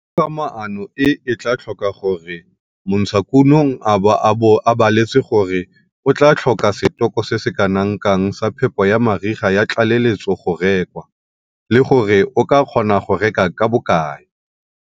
Togamaano e e tlaa tlhoka gore montshakuno a bo a baletse gore o tlaa tlhoka setoko se se kana kang sa phepo ya mariga ya tlaleletso go rekwa, le gore o ka kgona go reka ka bokae.